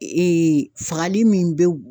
fagali min bɛ